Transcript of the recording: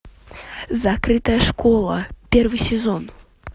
закрытая школа первый сезон